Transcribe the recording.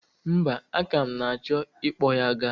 Mba, aka m na-achọ i kpọ ya ga.